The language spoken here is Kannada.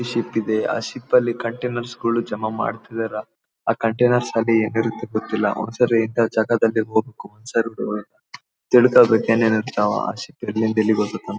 ಶಿಪ್ ಇದೆ ಆ ಶಿಪ್ ಅಲ್ಲಿ ಕಂಟೇನರ್ಸ್ ಗಳು ಜಮಾ ಮಾಡ್ತಯಿದರ ಆ ಕಂಟೇನರ್ಸ್ ಅಲ್ಲಿ ಏನ್ ಇರೋತೋ ಗೊತ್ತಿಲ್ಲ ಒಂದ್ಸರಿ ಇಂಥ ಜಗದಲ್ಲಿ ಹೋಗ್ಬೇಕು ಸರಕುಗಳು ತಿಳ್ಕೊಬೇಕು ಏನ್ ಏನ್ ಇರ್ತಾವ ಆ ಶಿಪ್ ಎಲ್ಲಿಂದ ಎಲ್ಲಿಗೆ ಹೋಗುತ್ತೆ ಅಂತ --